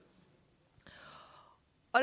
og